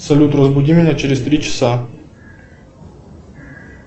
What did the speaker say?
салют разбуди меня через три часа